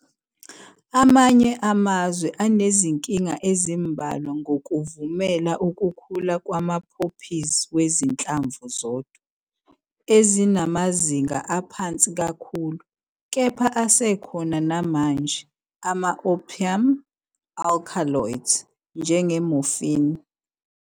Amanye amazwe anezinkinga ezimbalwa ngokuvumela ukukhula kwama-poppies wezinhlamvu zodwa, ezinamazinga aphansi kakhulu, kepha asekhona namanje, ama- opium alkaloids, njenge- morphine.